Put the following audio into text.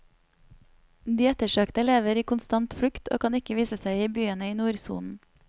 De ettersøkte lever i konstant flukt, og kan ikke vise seg i byene i nordsonen.